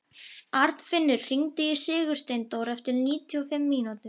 Arnfinnur, hringdu í Sigursteindór eftir níutíu og fimm mínútur.